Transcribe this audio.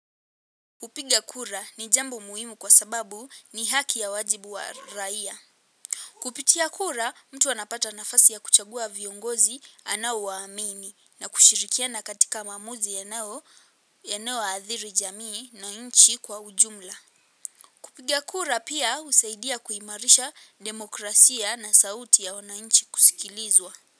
Kupiga kura ni jambo muhimu kwa sababu ni haki ya wajibu wa raia. Kupitia kura mtu anapata nafasi ya kuchagua viongozi anaowaamini na kushirikiana katika maamuzi yanaoadhiri jamii na nchi kwa ujumla. Kupiga kura pia husaidia kuimarisha demokrasia na sauti ya wananchi kusikilizwa.